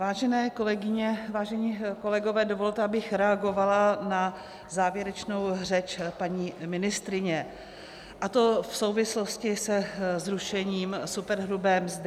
Vážené kolegyně, vážení kolegové, dovolte, abych reagovala na závěrečnou řeč paní ministryně, a to v souvislosti se zrušením superhrubé mzdy.